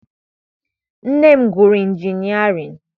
Nne m gụrụ injinịarịn.